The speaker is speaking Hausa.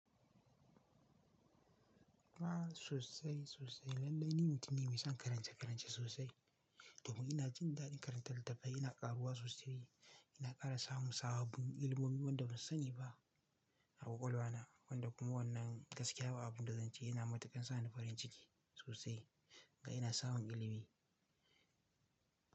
Ah sosai sosai. Lallai ni mutum ne mai son karance-karance sosai. Domin ina jin daɗin karantar littafai, ina ƙaruwa sosai ina ƙara samun sabobin ilimomi wanda ban sani ba a ƙwaƙwalwa na wanda kuma wannan gaskiya ba abun da zance yana matakan sa ni farin ciki sosai. Ga ina samun ilimi.